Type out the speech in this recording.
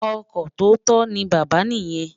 Ọkọ tóótọ ni bàbá niyen.